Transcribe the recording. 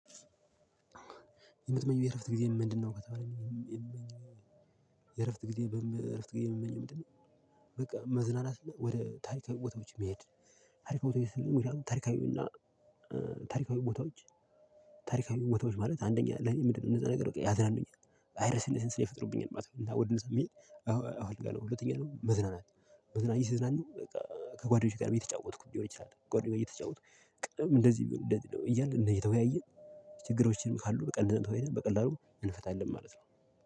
የምትመኘው የእረፍት ጊዜ ምንድነው ካተባለ የምመኘው የእረፍት ጊዜ እረፍት ጊዜ የምመኘው ምንድነው በቃ መዝናናት ወደ ታሪካዊ ቦታዎች መሄድ ታሪካዊ ቦታዎች ስልህ ሙሉ ታሪካዊ እና ታሪካዊው ቦታዎች ታሪካዊው ቦታዎች ማለት አንደኛ ለኔ ምንድነው እነዛ ነገር ያዝናኑኛል ቫይረስንስን ይፈጥሩብኛል ማለት ነው። እና ወደ ደንብ የሚል አዎ አልጋ ነው ሁለተኛ ነው መዝናናት መዝናኛ ሲዝናኑ በቃ ከጓደኞቼ ጋርም እየተጫወትኩ ሊሆን ይችላል ከጓደኞቼ ጋር እየተጫወትኩ ቅድም እንደዚህ ቢሆን እንደዚህ ነው እያልን እንደዚህ እየተወያየን ችግሮችንም ካሉ በቀላሉ በቀላሉ እንፈታለን ማለት ነው።